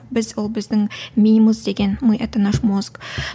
біз ол біздің миымыз деген мы это наш мозг